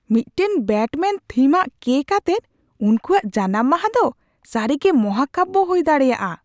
ᱢᱤᱫᱴᱟᱝ ᱵᱮᱴᱢᱮᱹᱱᱼᱛᱷᱤᱢᱟᱱ ᱠᱮᱠ ᱟᱛᱮᱫ ᱩᱱᱠᱩᱣᱟᱜ ᱡᱟᱱᱟᱢ ᱢᱟᱦᱟ ᱫᱚ ᱥᱟᱹᱨᱤᱜᱮ ᱢᱟᱦᱟᱠᱟᱵᱭᱚ ᱦᱩᱭ ᱫᱟᱲᱮᱭᱟᱜᱼᱟ ᱾